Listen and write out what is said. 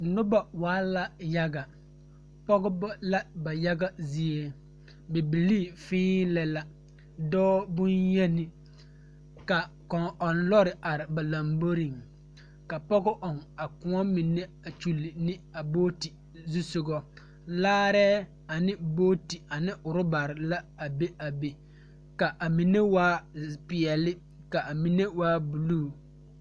Noba waa la yaga. Pɔgeba la ba yaga zie, bibilii fẽẽ lɛ la, dɔɔ boŋyeni, ka kɔŋ-ɔŋ lɔre are ba lamboriŋ, ka pɔge ɔŋ a kõɔ mine a kyili ne a booti zusogɔ, laarɛɛ ane booti ane orɔbare la a are be, ka a mine waa bompeɛl ka a mine waa buluu.